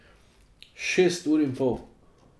Šest ur in pol.